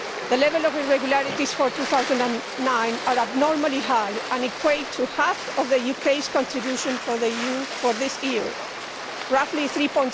The level of irregularities for 2009 is abnormally high and equates to half of the UK's contribution for the EU for this year, roughly EUR